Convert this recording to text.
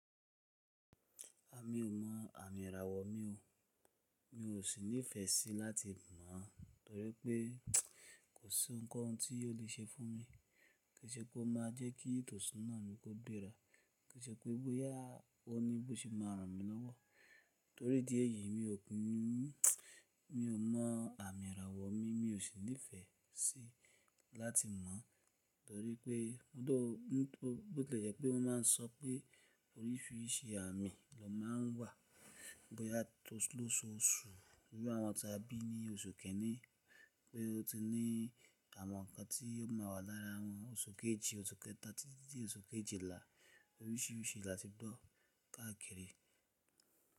A mi ò mọ àmì ìràwọ̀ mi o, mi ò sì nífẹ̀ẹ́ sí láti mọ̀ torí pé kò sí oun ko oun tí o lè ṣe fún mi. Kò ṣe pé ó máa jẹ́ kí etosuna mi kó gbera, kò ṣe pé bóyá oníbòṣì máa ràn mí lọ́wọ́. Torí dí ẹ̀yìí mi ò, mi ò mọ àmì ìràwọ̀ mi, mi ò sì nífẹ̀ẹ́ sí láti mọ̀ torí pé though, nítorí bo ti lè jẹ́ pé wọ́n máa ń sọ pé oríṣìíríṣìí àmì ló máa ń wà. Bóyá ti o lóṣù awon ti a bi ni oṣù kinin, pé ó ti ní àwọn nǹkan tí ó máa wà lára wọn. Oṣù kejì, oṣù kẹta títí dé oṣù kejìlá oríṣìíríṣìí láti bọ̀ káàkiri.